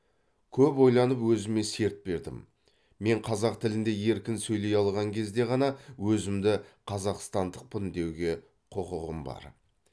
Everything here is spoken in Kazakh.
көп ойланып өзіме серт бердім мен қазақ тілінде еркін сөйлей алған кезде ғана өзімді қазақстандықпын деуге құқығым бар